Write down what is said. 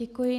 Děkuji.